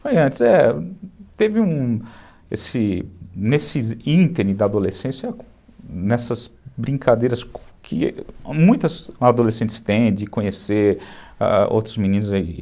Foi antes, é. Teve um... Nesse nesse ínterim da adolescência, nessas brincadeiras que muitas adolescentes têm de conhecer, ãh, outros meninos aí.